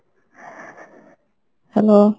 hello.